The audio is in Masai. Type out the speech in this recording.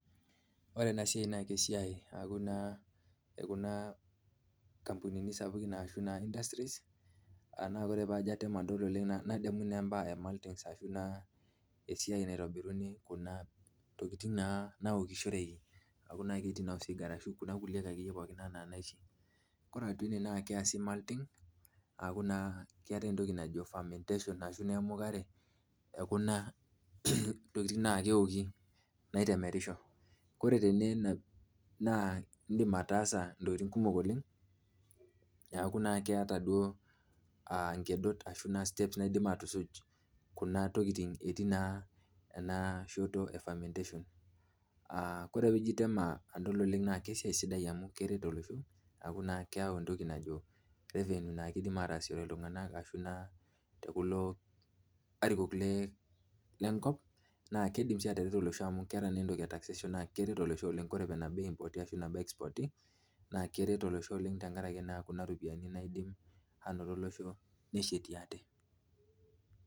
Ore ena siai naa esiai naa ekuna ampunini naji industries ore pee ajo ingoru oleng nadamu naa kuna tokiting naokishioreki aaku ketiin osigara okuna kulie akiyie enaa naishi. ore naa ena naa kesipa entoki na malti aashu famentashon emukare ookuna atokinting naaoki naitemerisho, ore tene naa indim ataasa ntokiting kumok oleng ,neeku naa keeta duo nkedot ashu steps nidim aatushuj Kuna tokiting etii naa enashoto efamentation. naa ore pee ijo atem adol naa esiai sidai amu keret olosho ,neeku naa keyau entoki naji revenue naa keidim aatasishore iltunganak ashu naa tekulo arikok lenkop ,naa keidim na atareto olosho amu keeta entoki etaxation naa keret olosho ore pee eipoti ashu expoti naa keret olosho tenkaraki naa Kuna ropiyiani nashet olosho neshatie ate.